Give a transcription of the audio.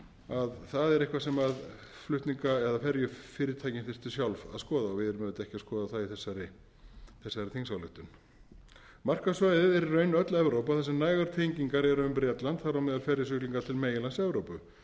að það er eitthvað sem flutninga eða ferjufyrirtækin þyrftu sjálf að skoða við erum auðvitað ekki að skoða það í þessari þingsályktun markaðssvæðið er í raun öll evrópa þar sem nægar tengingar eru um bretland þar á meðal ferjusiglingar til meginlands evrópu